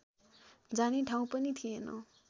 जाने ठाउँ पनि थिएन